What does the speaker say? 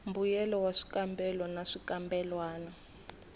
mbuyelo wa swikambelo na swikambelwana